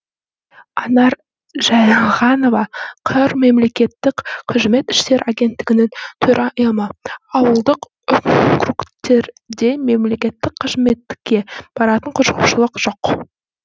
анар жайылғанова қр мемлекеттік қызмет істері агенттігінің төрайымы ауылдық округтерде мемлекеттік қызметке баратын қызығушылық жоқ